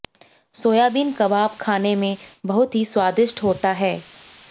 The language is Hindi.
सोयाबीन कबाब खाने में बहुत ही स्वादिष्ट होता है